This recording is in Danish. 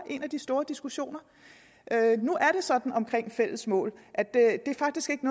en af de store diskussioner nu er det sådan omkring fælles mål at de faktisk ikke